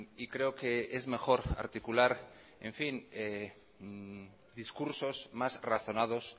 y creo que es mejor articular discursos más razonados